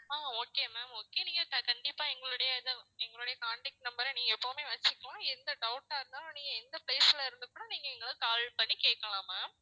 அஹ் okay ma'am okay நீங்க கண்~ கண்டிப்பா எங்களுடைய இத எங்களுடைய contact number அ நீங்க எப்பவுமே வச்சுக்கோங்க எந்த doubt ஆ இருந்தாலும் நீங்க எந்த place ல இருந்து கூட நீங்க எங்கள call பண்ணி கேக்கலாம் ma'am